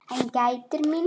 Hann gætir mín.